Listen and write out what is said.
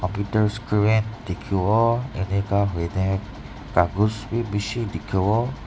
dikhiwo enika huine kakos bi bishi dikhiwo.